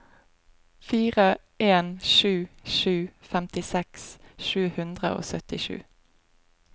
fire en sju sju femtiseks sju hundre og syttisju